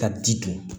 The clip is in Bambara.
Ka ji dun